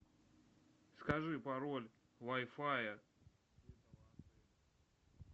скажи пароль вай фая